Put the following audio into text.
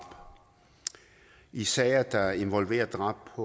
i sager der involverer drab